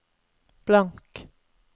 blank